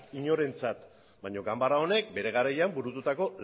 inorentzat baina ganbara honek bere garaian burututako